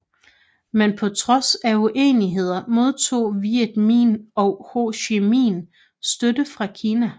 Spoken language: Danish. Men på trods af uenigheder modtog Viet Minh og Ho Chi Minh støtte fra Kina